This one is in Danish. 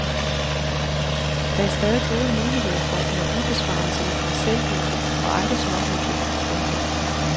Der er stadig gode muligheder for energibesparelser i parcelhuse og andre småhuse. punktum